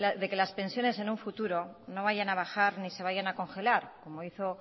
de que las pensiones en un futuro no vayan a bajar ni se vayan a congelar como hizo